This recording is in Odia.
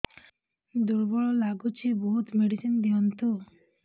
ଦୁର୍ବଳ ଲାଗୁଚି ବହୁତ ମେଡିସିନ ଦିଅନ୍ତୁ